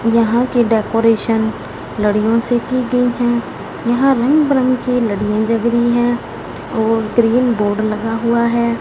यहां की डेकोरेशन लड़ियों से की गई हैं यहां रंग बिरंग की लड़ियां जग रही हैं और ग्रीन बोर्ड लगा हुआ है।